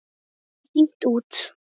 En svo var hringt út.